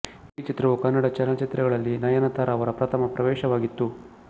ಈ ಚಿತ್ರವು ಕನ್ನಡ ಚಲನಚಿತ್ರಗಳಲ್ಲಿ ನಯನತಾರ ಅವರ ಪ್ರಥಮ ಪ್ರವೇಶವಾಗಿತ್ತು